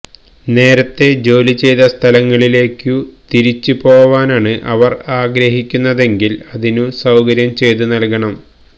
നേരത്തെ ജോലി ചെയ്ത സ്ഥലങ്ങളിലേക്കു തിരിച്ചുപോവാനാണ് അവര് ആഗ്രഹിക്കുന്നതെങ്കില് അതിനു സൌകര്യം ചെയ്തു നല്കണം